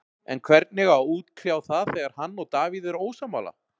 En hvernig á að útkljá það þegar hann og Davíð eru ósammála?